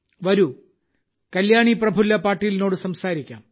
വരൂ കല്യാണി പ്രഫുല്ല പാട്ടീലിനോട് സംസാരിക്കാം